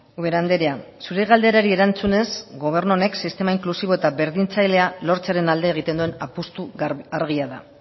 ubera andrea zure galderari erantzunez gobernu honek sistema inklusibo eta berdintzailea lortzearen alde egiten duen apustua argia da